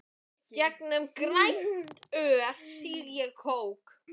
Gegnum grænt rör sýg ég kók.